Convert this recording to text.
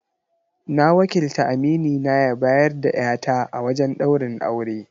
Na wakilta aminina ya bayar da 'ya ta a wajen ɗaurin aure.